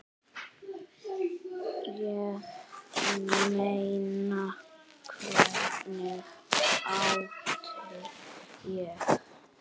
Ég meina, hvernig átti ég.?